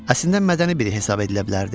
Əslində mədəni biri hesab edilə bilərdi.